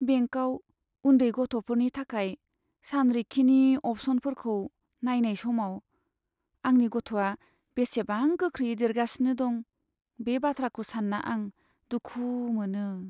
बेंकाव उन्दै गथ'फोरनि थाखाय सानरिखिनि अप्सनफोरखौ नायनाय समाव आंनि गथ'आ बेसेबां गोख्रैयै देरगासिनो दं, बे बाथ्राखौ सान्ना आं दुखु मोनो।